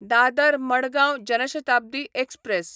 Dadar Madgaon Jan Shatabdi express